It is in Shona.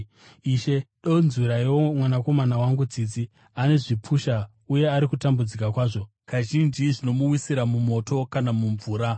“Ishe, donzwiraiwo mwanakomana wangu tsitsi. Ane zvipusha uye ari kutambudzika kwazvo. Kazhinji zvinomuwisira mumoto kana mumvura.